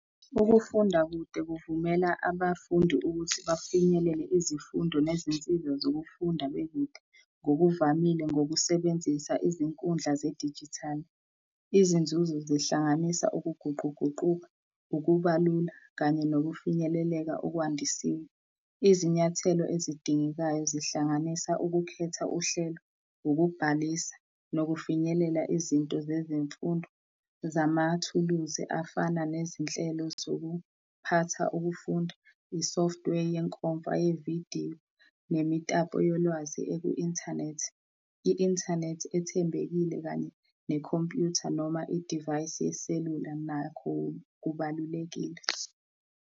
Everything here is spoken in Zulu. Ukufunda kude kuvumela abafundi ukuthi bafinyelele izifundo nezinsiza zokufunda bekude, ngokuvamile ngokusebenzisa izinkundla zedijithali. Izinzuzo zihlanganisa ukuguquguquka, ukubalula kanye nokufinyeleleka okwandisiwe. Izinyathelo ezidingekayo, zihlanganisa ukukhetha uhlelo, ukubhalisa nokufinyelela izinto zezimfundo zamathuluzi afana nezinhlelo zokuphatha ukufunda, i-software yenkomfa yevidiyo, nemitapo yolwazi eku-inthanethi. I-inthanethi ethembekile kanye nekhompyutha noma idivayisi yeselula nakho kubalulekile.